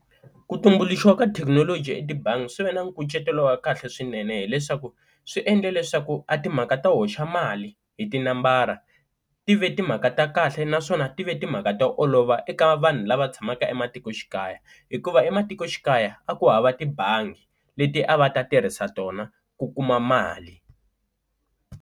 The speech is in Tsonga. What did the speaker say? Ku tumbuluxiwa ka thekinoloji etibangi swi ve na nkucetelo wa kahle swinene hileswaku swi endle leswaku a timhaka to hoxa mali hi tinambara ti ve timhaka ta kahle naswona a ti ve timhaka to olova eka vanhu lava tshamaka ematikoxikaya, hikuva ematikoxikaya a ku hava tibangi leti a va ta tirhisa tona ku kuma mali.